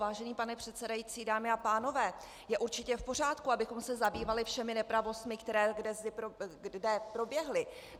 Vážený pane předsedající, dámy a pánové, je určitě v pořádku, abychom se zabývali všemi nepravostmi, které kde proběhly.